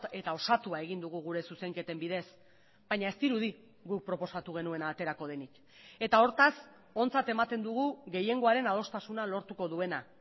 eta osatua egin dugu gure zuzenketen bidez baina ez dirudi guk proposatu genuena aterako denik eta hortaz ontzat ematen dugu gehiengoaren adostasuna lortuko duena